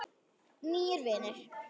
Nýir vinir